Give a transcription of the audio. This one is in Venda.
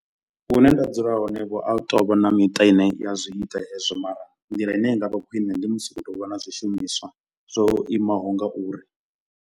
Hune nda dzula hone vho a hu tovha na miṱa ine ya zwi ita hezwo. Mara nḓila ine i nga vha khwiṋe ndi musi hu khou tou vha na zwishumiswa zwo imaho ngauri.